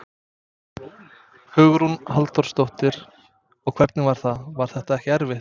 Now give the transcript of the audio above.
Hugrún Halldórsdóttir: Og hvernig var það, var það ekkert erfitt?